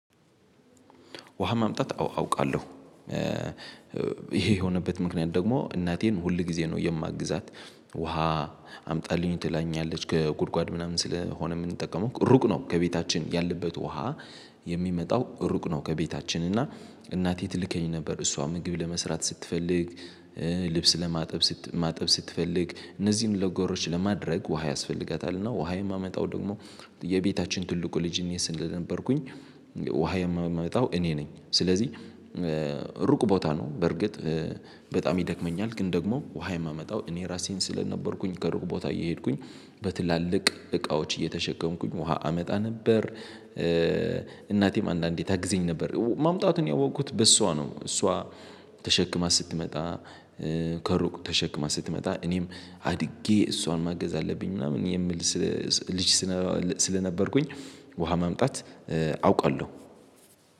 ውሃ ማምጣት አውቃለሁ። ይሄ የሆነበት ምክንያት ደግሞ እናቴን ሁል ጊዜ ነው የማግዛት። ውሃ አምጣልኝ ትላኛለች ከጉድጓድ ምናምን ስለሆነ የምንጠቀመው ሩቅ ነው ከቤታችን ያለበት ውሃ። የሚመጣው ሩቅ ነው ከቤታችን እና እናቴ ትልከኝ ነበር እሷ ምግብ ለመስራት ስትፈልግ። ልብስ ለማጠብ ማጠብ ስትፈልግ እነዚህን ለገሮች ለማድረግ ውሃ ያስፈልጋታል። እና ውሃ የማመጣው ደግሞ የቤታችን ትልቁ ልጅ እኔ ስለ ነበርኩኝ። ውሃ የማመጣው እኔ ነኝ ስለዚህ ሩቅ ቦታ ነው። በርግጥ በጣም ይደክመኛል ግን ደግሞ ውሃ የማመጣው እኔ ራሴን ስለነበርኩኝ ከሩቅ ቦታ እየሄድኩኝ በትላልቅ እቃዎች እየተሸከምኩኝ ውሃ አመጣ ነበር። እናቴም አንዳንዴ ታግዘኝ ነበር ማምጣቱን ያወቁት በሷ ነው። እሷ ተሸክማ ስትመጣ ከሩቅ ተሸክማ ስትመጣ። እኔም አድጌ እሷን ማገዝ አለብኝ ምናምን የሚል ልጅ ስለነበርኩኝ ውሃ ማምጣት አውቃለሁ